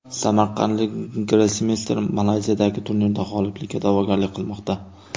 Samarqandlik grossmeyster Malayziyadagi turnirda g‘oliblikka da’vogarlik qilmoqda.